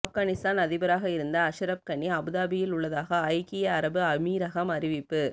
ஆப்கானிஸ்தான் அதிபராக இருந்த அஷ்ரப் கனி அபுதாபியில் உள்ளதாக ஐக்கிய அரபு அமீரகம் அறிவிப்பு